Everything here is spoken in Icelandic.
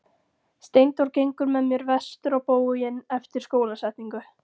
Steindór gengur með mér vestur á bóginn eftir skólasetningu.